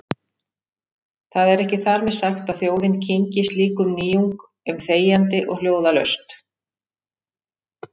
Það er ekki þar með sagt að þjóðin kyngi slíkum nýjung- um þegjandi og hljóðalaust.